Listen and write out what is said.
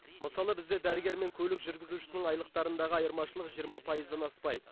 мысалы бізде дәрігер мен көлік жүргізушісінің айлықтарындағы айырмашылық жиырма пайыздан аспайды